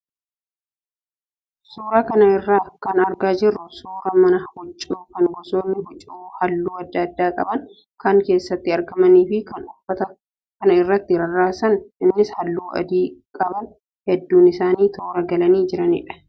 Suuraa kana irraa kan argaa jirru suuraa mana huccuu kan gosoonni hucuu halluu adda addaa qaban kan keessatti argamnii fi kan uffata kana irratti rarraasan innis halluu adii qaban hedduun isaanii toora galanii jiranidha.